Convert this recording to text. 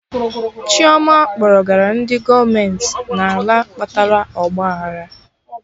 Chioma kpọrọgara ndị gọọmenti n'ala kpatara ọgba aghara